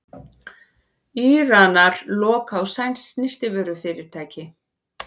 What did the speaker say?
Íranar loka á sænskt snyrtivörufyrirtæki